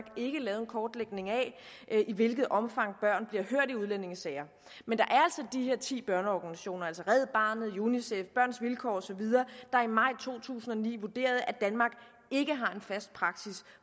ikke lavet en kortlægning af i hvilket omfang børn bliver hørt i udlændingesager men der er de her ti børneorganisationer altså red barnet unicef børns vilkår osv der i maj to tusind og ni vurderede at danmark ikke har en fast praksis